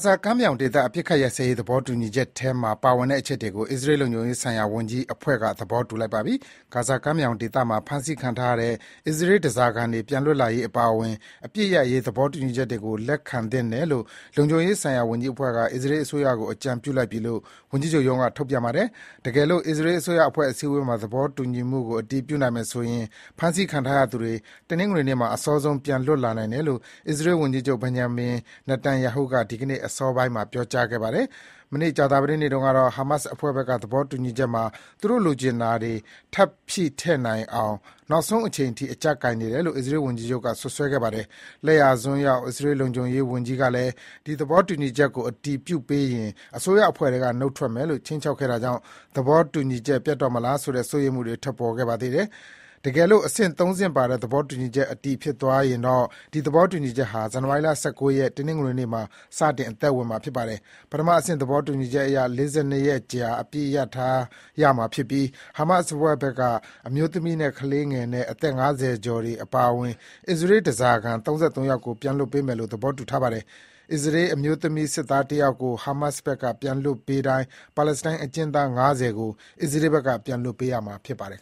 ဇာကမ်းမြောင်ဒေသအပစ်အခတ်ရပ်စဲရေး သဘောတူညီချက်ထဲမှာပါဝင်တဲ့အချက်တွေကို အစ္စရေး လုံခြုံရေးဆိုင်ရာ ဝန်ကြီးအဖွဲ့က သဘောတူလိုက်ပါပြီ။ ဂါဇာကမ်းမြောင်ဒေသမှာ ဖမ်းဆီးခံထားရတဲ့ အစ္စရေးဓားစာခံတွေပြန်လွတ်လာရေးအပါအဝင် အပစ်ရပ်ရေးသဘောတူညီချက်တွေကို လက်ခံသင့်တယ်လို့ လုံခြုံရေးဆိုင်ရာဝန်ကြီးအဖွဲ့က အစ္စရေး အစိုးရကို အကြံပြုလိုက်ပြီလို့ ဝန်ကြီးချုပ်ရုံးက ထုတ်ပြန်ပါတယ်။ တကယ်လို့ အစ္စရေးအစိုးရ အစည်းအဝေးမှာ သဘောတူညီမှုကို အတည်ပြုနိုင်မယ်ဆိုရင် ဖမ်းဆီးခံထားရသူတွေ တနင်္ဂနွေနေ့မှာ အစောဆုံးပြန်လွတ်လာနိုင်တယ်လို့ အစ္စရေးဝန်ကြီးချုပ် Benjamin Netanyahu က ဒီနေ့ အစောပိုင်းက ပြောကြားခဲ့ပါတယ်။ မနေ့ ကြာသပတေးနေ့တုန်းကတော့ Hamas အဖွဲ့ဘက်က သဘောတူညီချက်မှာ သူတို့လိုချင်တာတွေ ထပ်ထည့်နိုင်အောင် နောက်ဆုံးအချိန်အထိ အကျပ်ကိုင်နေတယ်လို့ အစ္စရေးဝန်ကြီးချုပ်က စွပ်စွဲခဲ့ ပါတယ်။ လက်ယာစွန်းရောက် အစ္စရေးလုံခြုံရေးဝန်ကြီးကလည်း ဒီသဘောတူညီချက်ကို အတည်ပြုပေးရင် အစိုးရအဖွဲ့ထဲက နုတ်ထွက်မယ်လို့ ခြိမ်းခြောက်ခဲ့တာကြောင့် သဘောတူညီချက် ပျက်တော့မလားဆိုတဲ့ စိုးရိမ်မှုတွေ ထွက်ပေါ်ခဲ့ပါသေးတယ်။ တကယ်လို့ အဆင့်သုံးဆင့်ပါတဲ သဘောတူညီချက် အတည်ဖြစ်သွားရင်တော့ ဒီသဘောတူညီချက်ဟာ ဇန်နဝါရီ ၁၉ ရက်၊ တနင်္ဂနွေနေ့မှာ စတင် အသက်ဝင်မှာဖြစ်ပါတယ်။ ပထမအဆင့် သဘောတူညီချက်အရ ၄၂ ရက်ကြာ အပစ်ရပ်ထားရမှာဖြစ်ပြီး Hamas အဖွဲ့ဘက်က အမျိုးသမီးနဲ့ ကလေးငယ်နဲ့ အသက် ၅၀ ကျော်တွေအပါအဝင် အစ္စရေး ဓားစာခံ ၃၃ ယောက်ကို ပြန်လွှတ်ပေးမယ်လို့ သဘောတူထားပါတယ်။ အစ္စရေးအမျိုးသမီးစစ်သည်ယောက်ကို Hamas ဘက်က ပြန်လွှတ်ပေးတိုင်း ပါလက်စတိုင်းအကျဉ်းသား ၅၀ ကို အစ္စရေးဘက်က ပြန်လွှတ်ပေးရမှာ ဖြစ်ပါတယ်